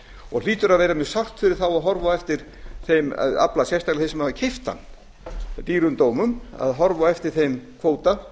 og hlýtur að vera mjög sárt fyrir þá að horfa á eftir þeim afla sérstaklega þeim sem hafa keypt hann dýrum dómum að horfa á eftir þeim kvóta